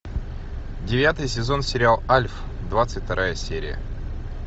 девятый сезон сериал альф двадцать вторая серия